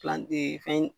fɛn